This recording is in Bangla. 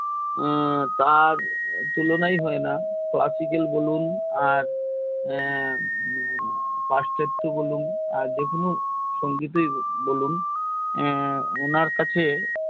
উনার হুমম তার তুলনায় হয় না তো আর classical বলুন আর সঙ্গীতেই বলুন উনার কাছে